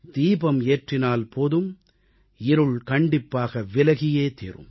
தீபம் ஏற்றினால் போதும் இருள் கண்டிப்பாக விலகியே தீரும்